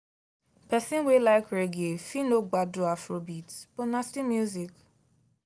person wey like reggae fit no gbadu afrobeats but na still music.